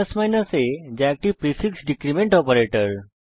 a যা একটি prefix decrement operator